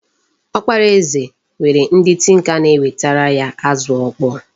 Ọkpara eze nwere ndị tinka na-ewetara ya azụ ọkpọọ.